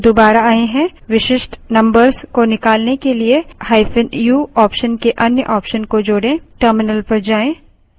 इस file में numbers हैं जो दुबारा आए हैं विशिष्ट numbers को निकालने के लिए –u option के अन्य option को जोड़ें